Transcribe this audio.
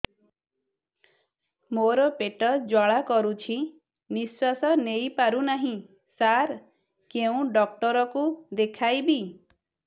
ମୋର ପେଟ ଜ୍ୱାଳା କରୁଛି ନିଶ୍ୱାସ ନେଇ ପାରୁନାହିଁ ସାର କେଉଁ ଡକ୍ଟର କୁ ଦେଖାଇବି